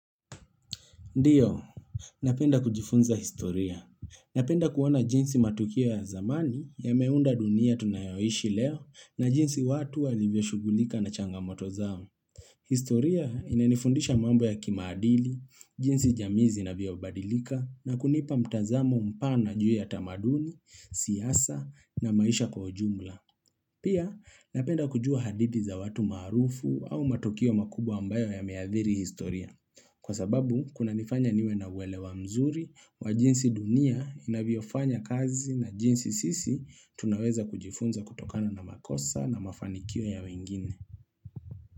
Ndiyo, napenda kujifunza historia. Napenda kuona jinsi matukio ya zamani yameunda dunia tunayoishi leo na jinsi watu walivyo shughulika na changamoto zao. Historia inanifundisha mambo ya kimaadili, jinsi jamii zinavyobadilika na kunipa mtazamo mpana juu ya tamaduni, siasa na maisha kwa ujumla. Pia, napenda kujua hadithi za watu maarufu au matukio makubwa ambayo yameadhiri historia. Kwa sababu, kunanifanya niwe na uelewa mzuri, wa jinsi dunia, inavyofanya kazi na jinsi sisi, tunaweza kujifunza kutokano na makosa na mafanikio ya wengine.